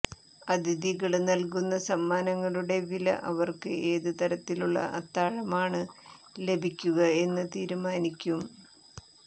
അതിഥികള് നല്കുന്ന സമ്മാനങ്ങളുടെ വില അവര്ക്ക് ഏത് തരത്തിലുള്ള അത്താഴമാണ് ലഭിക്കുക എന്ന് തീരുമാനിക്കും